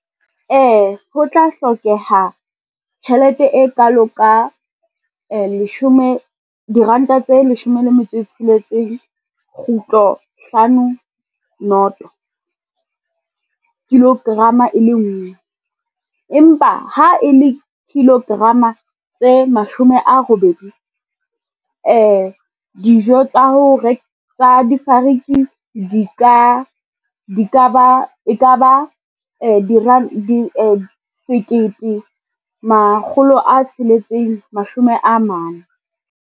Ee, ho tla hlokeha tjhelete e kalo ka diranta tse leshome le metso e tsheletseng kgutlo hlano noto kilogram-a e le nngwe. Empa ha e le kilogram-a tse mashome a robedi dijo tsa difariki e ka ba sekete makgolo a tsheletseng, mashome a mane.